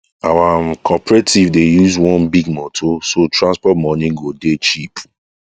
our um cooperative dey use one big motor so transport money go dey cheap